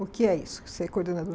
O que é isso, ser